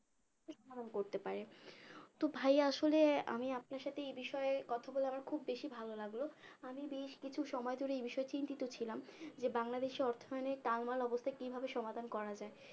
ঠিক পালন করতে পারে তো ভাইয়া আসলে আমি আপনার সাথে এই বিষয়ে কথা বলে আমার খুব বেশি ভালো লাগলো আমি বেশ কিছু সময় ধরে এই বিষয়ে চিন্তিত ছিলাম যে বাংলাদেশের অর্থয়নে টাল মাল অবস্থা কিভাবে সমাধান করা যায়